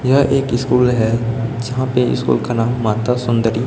यह एक स्कूल है यहां पे स्कूल का नाम माता सुंदरी--